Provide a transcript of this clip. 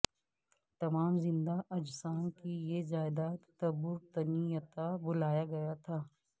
تمام زندہ اجسام کی یہ جائیداد تبورتنییتا بلایا گیا تھا